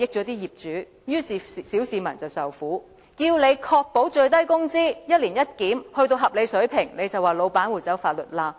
當我們要求當局確保最低工資一年一檢達到合理水平，當局就說老闆會走法律罅。